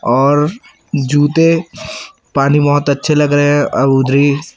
और जूते पानी में बहोत अच्छे लग रहे हैं और उधर ही--